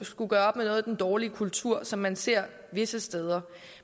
skulle gøre op med noget af den dårlige kultur som man ser visse steder